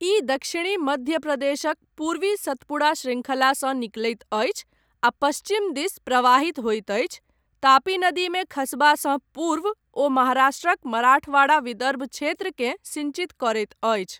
ई दक्षिणी मध्य प्रदेशक पूर्वी सतपुड़ा श्रृंखलासँ निकलैत अछि आ पश्चिम दिस प्रवाहित होइत अछि, तापी नदीमे खसबासँ पूर्व ओ महाराष्ट्रक मराठवाड़ा, विदर्भ क्षेत्रकेँ सिञ्चित करैत अछि।